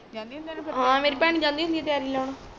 ਜਾਣੀ ਆ ਹਾਂ ਮੇਰੀ ਭੈਣ ਜਾਂਦੀ ਹੁੰਦੀ ਆ ਤਿਆਰੀ ਲਾਣ